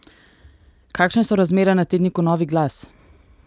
Kakšne so razmere na tedniku Novi glas?